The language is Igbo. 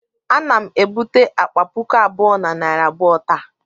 Ana m ebute akpa puku abụọ na narị abụọ taa